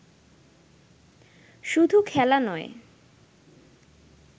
শুধু খেলা নয়